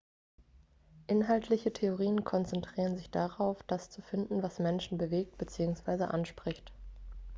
inhaltliche theorien konzentrieren sich darauf das zu finden was menschen bewegt beziehungsweise anspricht